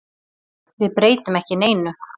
Við breytum ekki neinu.